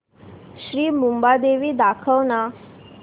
श्री मुंबादेवी दाखव ना